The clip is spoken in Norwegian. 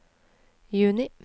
juni